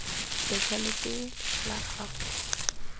letlha lepe letlha la gago